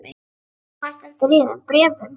Og hvað stendur í þeim bréfum?